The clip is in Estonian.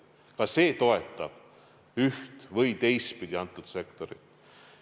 Ka see toetab üht- või teistpidi seda sektorit.